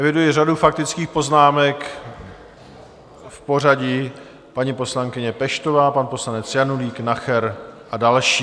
Eviduji řadu faktických poznámek v pořadí paní poslankyně Peštová, pan poslanec Janulík, Nacher a další.